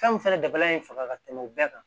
Fɛnw fɛnɛ dabali faga ka tɛmɛ u bɛɛ kan